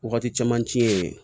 Wagati caman ci ye